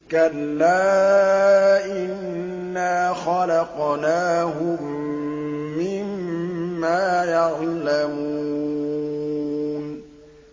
كَلَّا ۖ إِنَّا خَلَقْنَاهُم مِّمَّا يَعْلَمُونَ